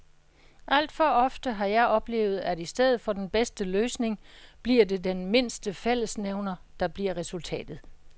Alt for ofte har jeg oplevet, at i stedet for den bedste løsning bliver det den mindste fællesnævner, der bliver resultatet.